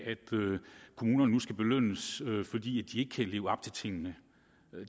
kommunerne nu skal belønnes fordi de ikke kan leve op til tingene